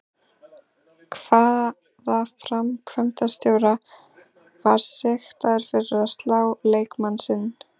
Hvaða framkvæmdarstjóri var sektaður fyrir að slá leikmann sinn?